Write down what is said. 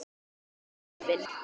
Ertu horfin?